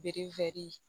Bere